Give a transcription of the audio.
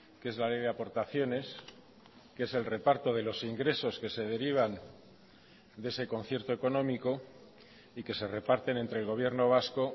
que es la ley de aportaciones que es el reparto de los ingresos que se derivan de ese concierto económico y que se reparten entre el gobierno vasco